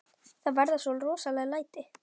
Það verða svo rosaleg læti.